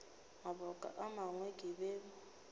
mabaka a mangwe ke be